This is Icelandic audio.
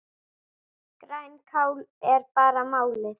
Grænkál er bara málið!